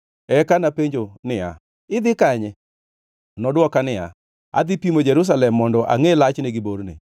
Eka napenjo niya, “Idhi kanye?” Nodwoka niya, “Adhi pimo Jerusalem mondo angʼe lachne gi borne.”